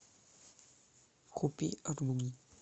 купи аруни